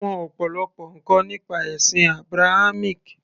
ó mọ ọ̀pọ̀lọpọ̀ ǹkan nípa ẹ̀sìn Abrahamic